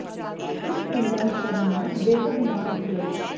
ਇਸ ਫਿਲਮ ਦਾ ਹਿੱਸਾ ਬਣਨਾ ਬੇਹੱਦ ਮਾਣ ਦੀ ਗੱਲ